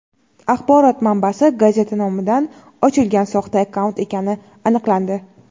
axborot manbasi gazeta nomidan ochilgan soxta akkaunt ekani aniqlandi.